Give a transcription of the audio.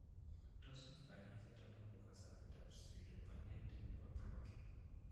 Tos mi kanyoiset anan ko kasobetab Pseudopelade nebo Brocq?